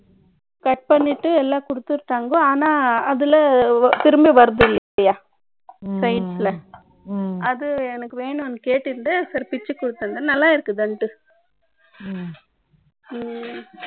Cut பண்ணிட்டு, எல்லாம் குடுத்துட்டாங்க. ஆனா, அதுல திரும்பி வர்றதில்லையா ம். Side ல. ம். அது எனக்கு வேணும்னு கேட்டுண்டு, sir, பிச்சு கொடுத்திருந்தேன். நல்லா இருக்குதுன்னுட்டு